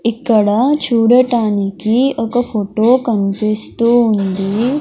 ఇక్కడ చూడటానికి ఒక ఫోటో కనిపిస్తూ ఉంది.